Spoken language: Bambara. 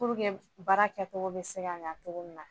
Pur baara kɛcogo bɛ se ka ɲan cogo min na.